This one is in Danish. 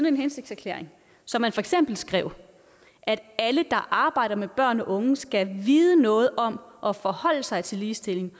en hensigtserklæring så man for eksempel skrev at alle der arbejder med børn og unge skal vide noget om og forholde sig til ligestilling